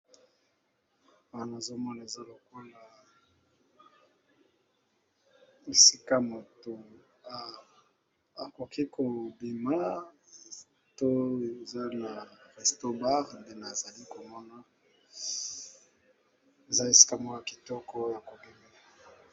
Awa namoni balakisi biso eza esika moto akobimela eza Restaurant bar eza esika mokoboye ya kitoko ya kobimela